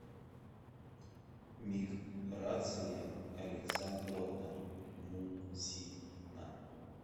миграция александровна мусина